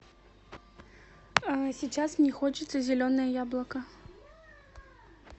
сейчас мне хочется зеленое яблоко